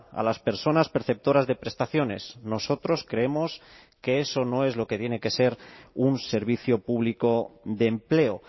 a las personas perceptoras de prestaciones nosotros creemos que eso no es lo que tiene que ser un servicio público de empleo